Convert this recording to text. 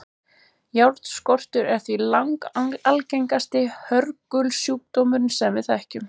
Járnskortur er því langalgengasti hörgulsjúkdómurinn sem við þekkjum.